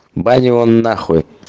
бань его нахуй